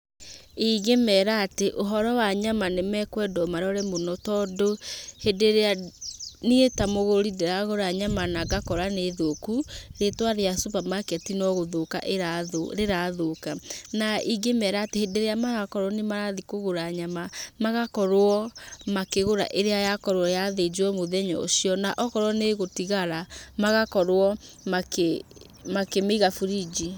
Ingĩmera atĩ, ũhoro wa nyama nĩ mekendwo marore mũno tondũ, hĩndĩ ĩrĩa niĩ ta mũgũri ndĩragũra nyama na ngakora nĩ thũku, rĩĩtwa rĩa supamaketi no gũthũka ĩrathũka rĩrathũka. Na ingĩmera atĩ, hĩndĩ ĩrĩa marakorwo atĩ nĩ marathi kũgũra nyama, magakorwo makĩgũra ĩrĩa yakorwo yathĩnjwo mũthenya ũcio. Na okorwo nĩ ĩgũtigara magakorwo makĩmĩiga burinji.